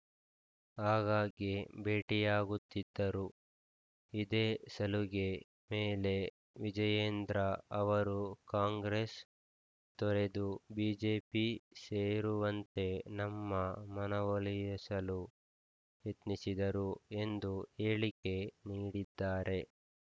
ಆಗ್ಗಾಗ್ಗೆ ಭೇಟಿಯಾಗುತ್ತಿದ್ದರು ಇದೇ ಸಲುಗೆ ಮೇಲೆ ವಿಜಯೇಂದ್ರ ಅವರು ಕಾಂಗ್ರೆಸ್‌ ತೊರೆದು ಬಿಜೆಪಿ ಸೇರುವಂತೆ ನಮ್ಮ ಮನವೊಲಿಯಸಲು ಯತ್ನಿಸಿದರು ಎಂದು ಹೇಳಿಕೆ ನೀಡಿದ್ದಾರೆ